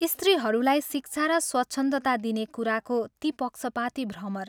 स्त्रीहरूलाई शिक्षा र स्वच्छन्दता दिने कुराको ती पक्षपाती भ्रमर